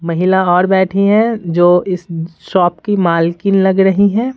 महिला और बैठी हैं जो इस शॉप की मालकिन लग रही है।